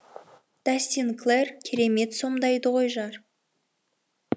дастин клэр керемет сомдайды ғой жар